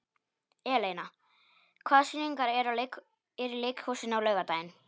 Eleina, hvaða sýningar eru í leikhúsinu á laugardaginn?